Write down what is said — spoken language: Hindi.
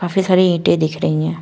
काफी सारी ईंटें दिख रही हैं।